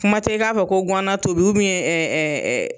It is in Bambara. Kuma tɛ i k'a fɔ ko ŋana tobi ɛ ɛ ɛ